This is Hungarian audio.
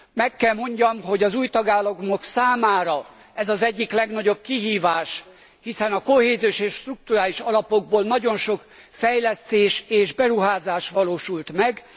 Meg kell mondjam, hogy az új tagállamok számára ez az egyik legnagyobb kihívás, hiszen a kohéziós és strukturális alapokból nagyon sok fejlesztés és beruházás valósult meg.